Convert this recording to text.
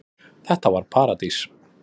Þetta var paradís.